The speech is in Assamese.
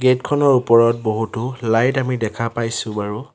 গেট খনৰ ওপৰত বহুতো লাইট আমি দেখা পাইছোঁ বাৰু।